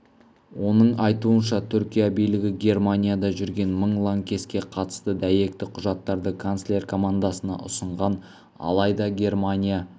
оның айтуынша түркия билігі германияда жүрген мың лаңкеске қатысты дәйекті құжаттарды канцлер командасына ұсынған алайда германия